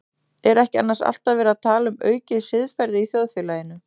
Er ekki annars alltaf verið að tala um aukið siðferði í þjóðfélaginu?